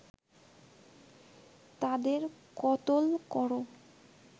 তাদের কতল করো